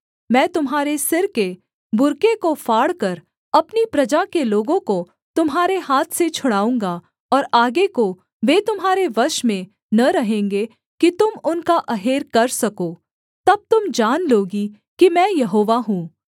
मैं तुम्हारे सिर के बुर्के को फाड़कर अपनी प्रजा के लोगों को तुम्हारे हाथ से छुड़ाऊँगा और आगे को वे तुम्हारे वश में न रहेंगे कि तुम उनका अहेर कर सको तब तुम जान लोगी कि मैं यहोवा हूँ